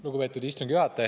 Lugupeetud istungi juhataja!